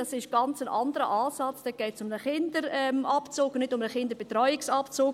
Das ist ein ganz anderer Ansatz, dort geht es um einen Kinderabzug, nicht um einen Kinderbetreuungsabzug.